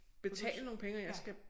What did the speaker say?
Betale nogle penge og jeg skal